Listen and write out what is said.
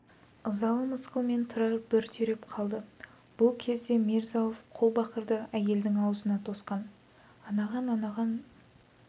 ызалы мысқылмен тұрар бір түйреп қалды бұл кезде мирза-ауф қолбақырды әйелдің аузына тосқан анаған анаған